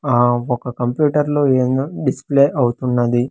ఆ ఒక కంప్యూటర్ లో ఏందో డిస్ప్లే అవుతున్నది.